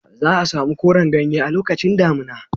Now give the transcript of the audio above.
Za a samu koran ganye a lokacin damina.